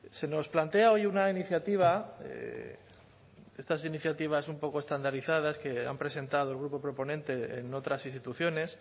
se nos plantea hoy una iniciativa estas iniciativas un poco estandarizadas que han presentado el grupo proponente en otras instituciones